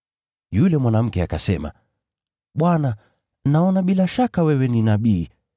Yule mwanamke akasema, “Bwana, naona bila shaka wewe ni nabii.